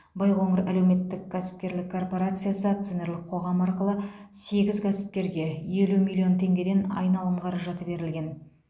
байқоңыр әлеуметтік кәсіпкерлік корпорациясы акционерлік қоғамы арқылы сегіз кәсіпкерге елу миллион теңгеден айналым қаражаты берілген